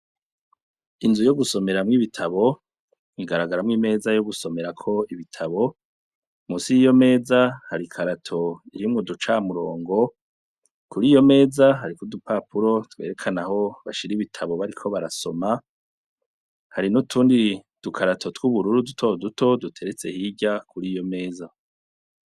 Inzu yo gusomeramwo ibitabo ingaragaramwo imeza yo gusomerako ibitabo musi yiyo meza harikarato irimwe uduca murongo kuri iyo meza hari koudupapuro twerekanaho bashira ibitabo bariko barasoma hari no tundi dukarato tw'ubururu duto duto due sehirya kuri iyo meza.